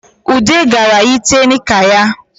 Ude gara yite nika ya